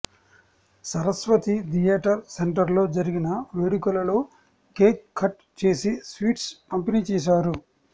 Saraswati theatre centre లో జరిగిన వేడుకల లో కేక్ కట్ చేసి స్వీట్స్ పంపిణి చేసారు